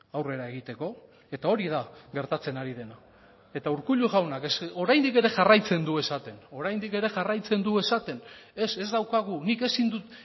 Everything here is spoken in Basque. aurrera egiteko eta hori da gertatzen ari dena eta urkullu jaunak oraindik ere jarraitzen du esaten oraindik ere jarraitzen du esaten ez ez daukagu nik ezin dut